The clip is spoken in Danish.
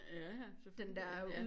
Ja ja selvfølgelig ja